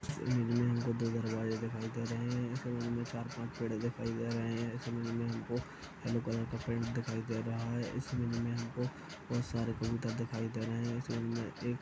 इस इमेज में हमे दो दरवाजे दिखाई दे रहे है इस इमेज में हमे चार पांच पेढ़े दिखाई दे रहे है इस इमेज में हमको यल्लो कलर का बहुत सारे कबूतर दिखाई दे रहे है इस इमेज में एक --